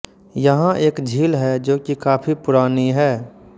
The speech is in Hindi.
यहाँ एक झील है जो की काफी पुरानी है